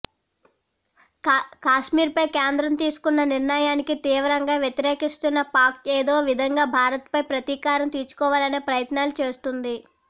కశ్మీర్పై కేంద్రం తీసుకున్న నిర్ణయాన్ని తీవ్రంగా వ్యతిరేకిస్తున్న పాక్ ఏదో విధంగా భారత్పై ప్రతీకారం తీర్చుకోవాలనే ప్రయత్నాలు చేస్తోంది